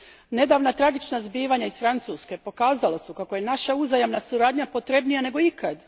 Nedavna tragična zbivanja iz Francuske pokazala su kako je naša uzajamna suradnja potrebnija nego ikad.